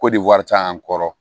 Ko de wari ca an kɔrɔ